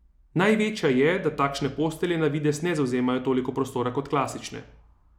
Največja je, da takšne postelje na videz ne zavzemajo toliko prostora kot klasične.